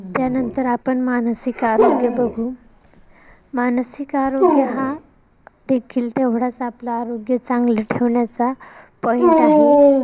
या नंतर आपण मानसिक आरोग्य बघू मानसिक आरोग्य हा देखील तेवढाच आपल आरोग्य चांगलं ठेवण्याचा point आहे.